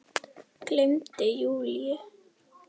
Gleymdi Júlíu.